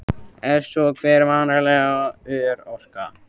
Ef svo, hver er varanleg örorka?